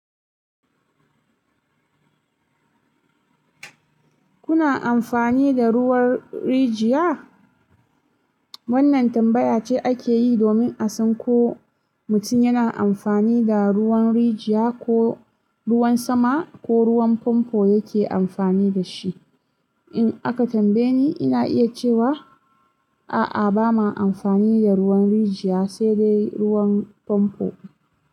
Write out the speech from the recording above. Kuna amfani da ruwan rijiya? Wannan tambaya ce ake yi domin a san ko mutum yana amfani da ruwan rijiya ko ruwan sama ko ruwan famfo yake amfani da shi. In aka tambaye ni, ina iya cewa a’a, ba ma amfani da ruwan rijiya, sai dai ruwan famfo.